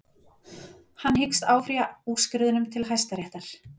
Hann hyggst áfrýja úrskurðinum til hæstaréttar